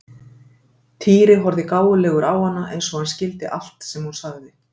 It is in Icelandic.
Týri horfði gáfulegur á hana eins og hann skildi allt sem hún sagði.